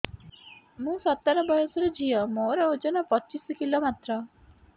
ମୁଁ ସତର ବୟସର ଝିଅ ମୋର ଓଜନ ପଚିଶି କିଲୋ ମାତ୍ର